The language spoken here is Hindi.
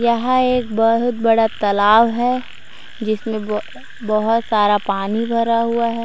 यहाँ एक बहुत बड़ा तालाव है जिसमें ब बहुत सारा पानी भरा हुआ है।